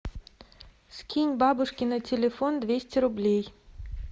скинь бабушке на телефон двести рублей